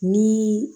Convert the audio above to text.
Ni